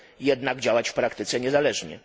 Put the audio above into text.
jednak działać w praktyce niezależnie.